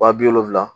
Wa bi wolonwula